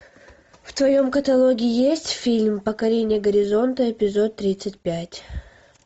в твоем каталоге есть фильм покорение горизонта эпизод тридцать пять